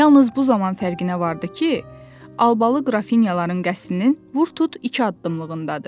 Yalnız bu zaman fərqinə vardı ki, Albalı qrafinyaların qəsrinin vurtut iki addımlığındadır.